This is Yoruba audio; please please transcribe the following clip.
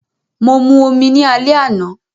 Mo mu omi ni alẹ́ àná